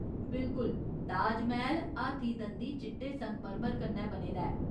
बिल्कुल, ताजमैह्‌ल हाथी दंदी चिट्टे संगमरमर कन्नै बने दा ऐ।